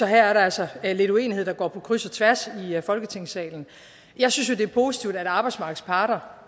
her er der altså lidt uenighed der går på kryds og tværs af folketingssalen jeg synes jo det er positivt at arbejdsmarkedets parter